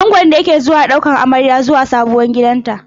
Angon ne ke zuwa daukan amarya zuwa sabon gidanta.